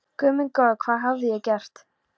Guð minn góður, hvað hafði ég gert?